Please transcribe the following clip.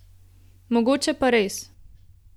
Mogoče pa res.